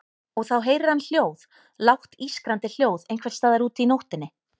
Og þá heyrir hann hljóð, lágt ískrandi hljóð einhvers staðar úti í nóttinni.